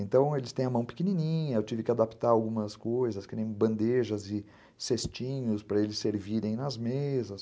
Então eles têm a mão pequenininha, eu tive que adaptar algumas coisas, que nem bandejas e cestinhos para eles servirem nas mesas.